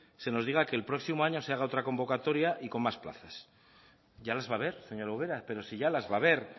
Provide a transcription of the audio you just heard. se nos diga que el próximo año se haga otra convocatoria y con más plazas ya las va a haber señora ubera pero si ya las va a haber